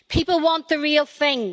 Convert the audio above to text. People want the real thing.